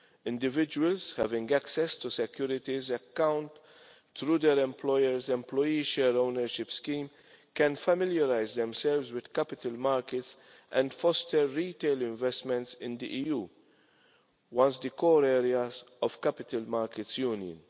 Individuals having access to a securities account through their employers employee share ownership scheme can familiarise themselves with capital markets and foster retail investments in the EU, once the core areas of capital markets union.